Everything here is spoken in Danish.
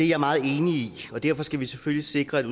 jeg meget enig i og derfor skal vi selvfølgelig sikre at